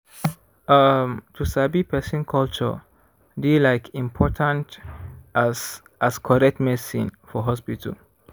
ummm to sabi person culture dey like important as as correct medicine for hospital.